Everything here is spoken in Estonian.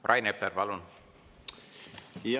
Rain Epler, palun!